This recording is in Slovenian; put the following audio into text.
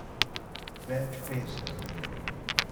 Več peska?